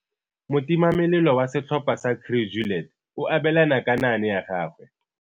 Motimamelelo wa setlhopha sa Crew Juliet o abelana ka naane ya gagwe.